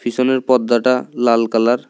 পিছনের পর্দাটা লাল কালার ।